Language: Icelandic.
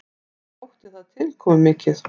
Mér þótti það tilkomumikið.